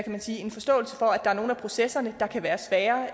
man sige en forståelse for at der er nogle af processerne der kan være svære